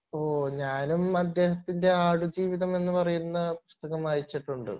ഓഹ് ഞാനും അദ്ദേഹത്തിൻ്റെ ആടുജീവിതം എന്ന് പറയുന്ന പുസ്തകം വായിച്ചിട്ടുണ്ട്